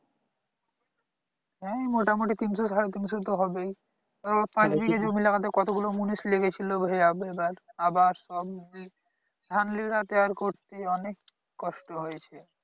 হ্যাঁ মোটামুটি তিনশো সাড়ে তিনশো তো হবেই এবার পাঁচ বিঘা জমি লাগাতে কতগুলো মুনিশ লেগেছিলো এবার আবার সব উম ধান লাগাতে আর করতে অনেক কষ্ট হয়েছে